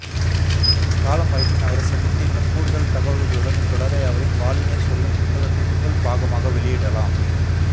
காலம் வாய்ப்பின் அவரை சந்தித்து இன்னும் கூடுதல் தகவல்களுடன் இத்தொடரை அவரின் வாழ்வினினை சொல்லும் புத்தகத்தின் முதல் பாகமாக வெளியிடலாம்